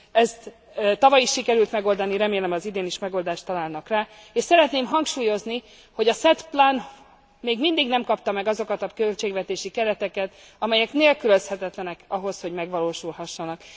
Ezt tavaly is sikerült megoldani, remélem az idén is megoldást találnak rá. És szeretném hangsúlyozni, hogy a SET Plan még mindig nem kapta meg azokat a költségvetési kereteket, amelyek nélkülözhetetlenek ahhoz, hogy megvalósulhassanak.